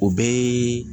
O bɛɛ ye